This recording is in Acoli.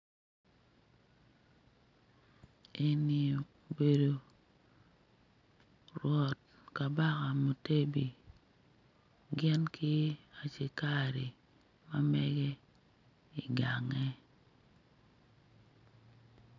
Eni obedo rwot kabaka Mutebi gin ki acikari ma mege igange